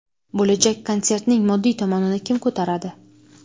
Bo‘lajak konsertning moddiy tomonini kim ko‘taradi?